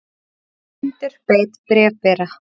Hundur beit bréfbera